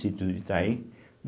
Sítio do Itaim.